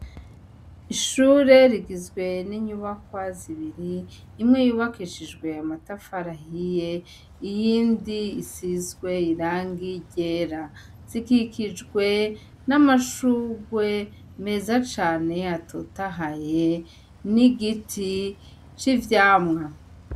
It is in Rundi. Ishure rigizwe n'inyubakwa zibiri imwe yubakishijwe ya matafarahiye iyindi isizwe irangi ryera zikikijwe n'amashugwe meza cane yatotahaye n'igiti c'ivyamwa.